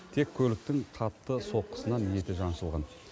тек көліктің қатты соққысынан еті жаншылған